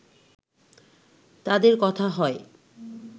তাদের কথা হয়